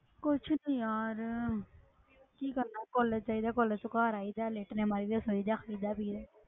ਕੁਛ ਨੀ ਯਾਰ ਕੀ ਕਰਨਾ college ਚਲੇ ਜਾ college ਤੋਂ ਘਰ ਆਈਦਾ, ਲੇਟਣੇ ਮਾਰੀਦੇ, ਸੋਈਦਾ, ਖਾਈਦਾ, ਪੀਈਦਾ।